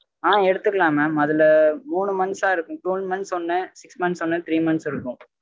ஆஹ் எடுத்துக்கலாம் mam அதுல மூணு months அஹ் இருக்கும் twelve months ஒன்னு six months ஒன்னு three months இருக்கும்